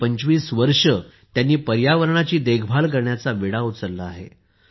गेली 25 वर्षे त्यांनी पर्यावरणाची देखभाल करण्याचा विडा उचलला आहे